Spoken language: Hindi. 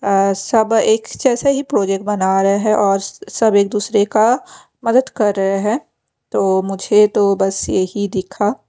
अ सब एक जैसे ही प्रोजेक्ट बना रहे है और सब एक दूसरे का मदद कर रहे है तो मुझे तो बस यही दिखा।